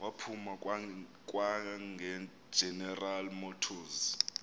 waphuma kwageneral motors